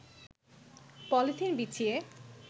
polythene বিছিয়ে